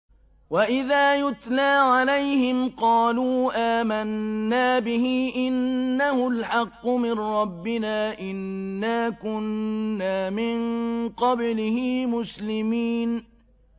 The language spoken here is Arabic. وَإِذَا يُتْلَىٰ عَلَيْهِمْ قَالُوا آمَنَّا بِهِ إِنَّهُ الْحَقُّ مِن رَّبِّنَا إِنَّا كُنَّا مِن قَبْلِهِ مُسْلِمِينَ